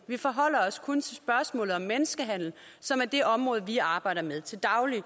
vi forholder os kun til spørgsmålet om menneskehandel som er det område vi arbejder med til daglig